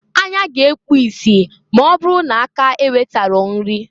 Anya ga-ekpu isi m'ọ bụrụ na aka ewetaro nri.